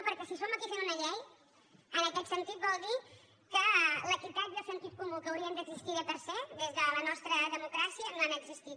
perquè si som aquí fent una llei en aquest sentit vol dir que l’equitat i el sentit comú que haurien d’existir per se des de la nostra democràcia no han existit